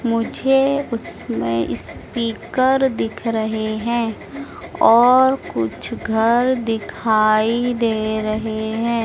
मुझे उसमें स्पीकर दिख रहे हैं और कुछ घर दिखाई दे रहे हैं।